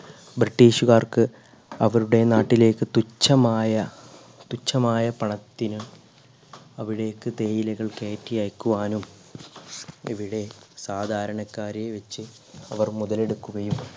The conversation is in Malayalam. british കാർക്ക് അവരുടെ നാട്ടിലെക്ക് തുച്ഛമായ തുച്ഛമായ പണത്തിനി അവിടേക്ക് തേയിലകൾ കേറ്റി അയക്കുവാനും ഇവിടെ സാധാരണക്കാരെ വെച്ച് അവർ മുതലെടുക്കുകയും